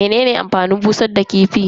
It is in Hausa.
Menene amfanin busar da kifi?